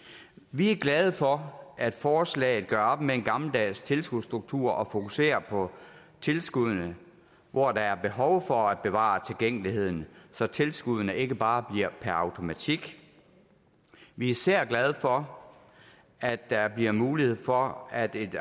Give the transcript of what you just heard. vi er glade for at forslaget gør op med en gammeldags tilskudsstruktur og fokuserer på tilskuddene hvor der er behov for at bevare tilgængeligheden så tilskuddene ikke bare bliver per automatik vi er især glade for at der bliver mulighed for at en